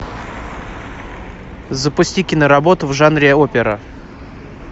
запусти киноработу в жанре опера